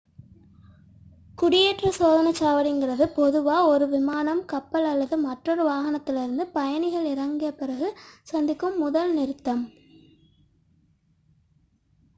குடியேற்ற சோதனைச் சாவடி என்பது பொதுவாக ஒரு விமானம் கப்பல் அல்லது மற்றொரு வாகனத்திலிருந்து பயணிகள் இறங்கிய பிறகு சந்திக்கும் முதல் நிறுத்தமாகும்